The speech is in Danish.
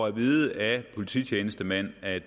at vide af polititjenestemænd at